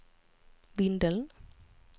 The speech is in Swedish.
Vindeln